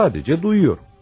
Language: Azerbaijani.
Sadəcə duyuyorum.